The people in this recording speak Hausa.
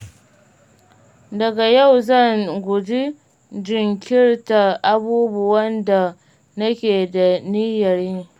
Daga yau, zan guji jinkirta abubuwan da nake da niyyar yi.